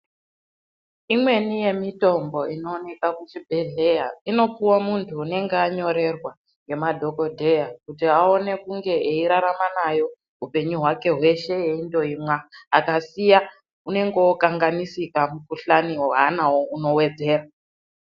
Imweni yemitombo inoonekwa kuzvibhedhlera inopuwa muntu anenge anyorerwa nemadhokodheya kuti aone kunge eirarama nayo upenyu hwake weingokura akaisiya anenge okanganisika mukuhlani waanayo unowedzera.